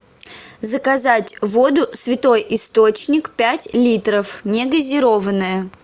заказать воду святой источник пять литров негазированная